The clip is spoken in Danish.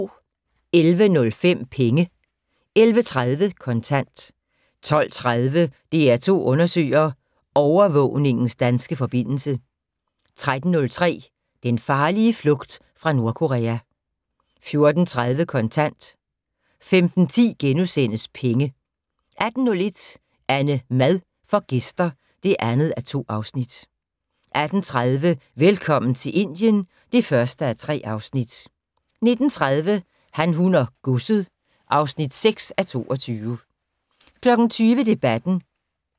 11:05: Penge 11:30: Kontant 12:30: DR2 undersøger: Overvågningens danske forbindelse 13:05: Den farlige flugt fra Nordkorea 14:30: Kontant 15:10: Penge * 18:01: AnneMad får gæster (2:2) 18:30: Velkommen til Indien (1:3) 19:30: Han, hun og godset (6:22) 20:00: Debatten